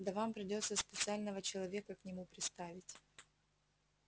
да вам придётся специального человека к нему приставить